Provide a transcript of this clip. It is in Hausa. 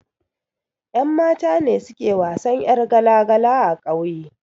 Ƴan mata ne suke wasan ƴar gala gala a ƙauye